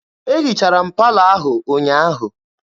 E hichara m palọ ahụ ụnyaahụ.